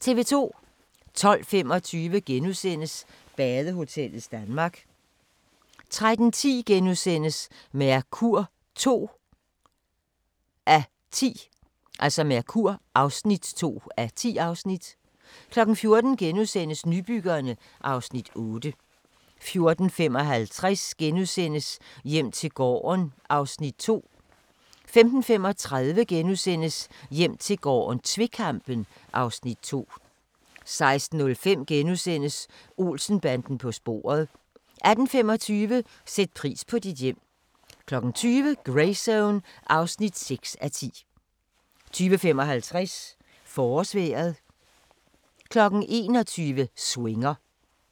12:25: Badehotellets Danmark * 13:10: Mercur (2:10)* 14:00: Nybyggerne (Afs. 8)* 14:55: Hjem til gården (Afs. 2)* 15:35: Hjem til gården - tvekampen (Afs. 2)* 16:05: Olsen-banden på sporet * 18:25: Sæt pris på dit hjem 20:00: Greyzone (6:10) 20:55: Forårsvejret 21:00: Swinger